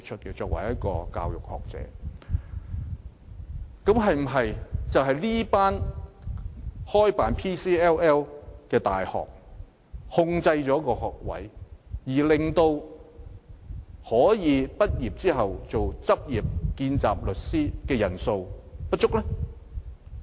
現時是否因為這些開辦 PCLL 的大學限制了學位數目，以致可以在畢業後擔任見習律師的人數不足？